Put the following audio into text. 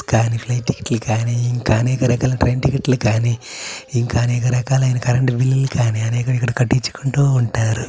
కానీ flight ticket లు కానీ ఇంకా అనేక రకాల ట్రైన్ టికెట్ కాని ఇంకా అనేక రకాలైన కరెంట్ బిల్లు లు కానీ అనేవి ఇక్కడ కట్టించుకుంటూ ఉంటారు.